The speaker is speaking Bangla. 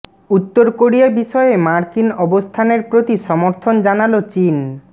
উত্তর কোরিয়া বিষয়ে মার্কিন অবস্থানের প্রতি সমর্থন জানাল চীন